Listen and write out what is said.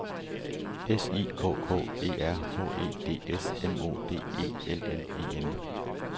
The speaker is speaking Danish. S I K K E R H E D S M O D E L L E N